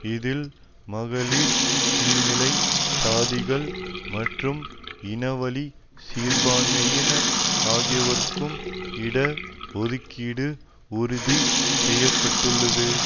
இதில் மகளிர் கீழ்நிலை சாதிகள் மற்றும் இனவழி சிறுபான்மையினர் ஆகியோருக்கு இட ஒதுக்கீடு உறுதி செய்ய பட்டுள்ளது